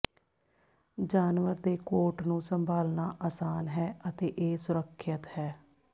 ਜਾਨਵਰ ਦੇ ਕੋਟ ਨੂੰ ਸੰਭਾਲਣਾ ਆਸਾਨ ਹੈ ਅਤੇ ਇਹ ਸੁਰੱਖਿਅਤ ਹੈ